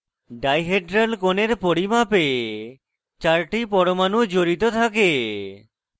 dihedral কোণের পরিমাপে 4 টি পরমাণু জড়িত থাকে